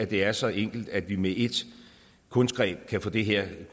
det er så enkelt at vi med et kunstgreb kan få det her